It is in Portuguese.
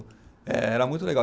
Era muito legal.